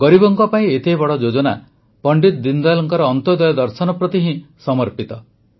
ଗରିବଙ୍କ ପାଇଁ ଏତେ ବଡ଼ ଯୋଜନା ପଣ୍ଡିତ ଦୀନଦୟାଲଙ୍କ ଅନ୍ତ୍ୟୋଦୟ ଦର୍ଶନ ପ୍ରତି ହିଁ ସମର୍ପିତ